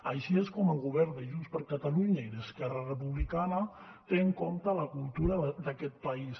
així és com el govern de junts per catalunya i d’esquerra republicana té en compte la cultura d’aquest país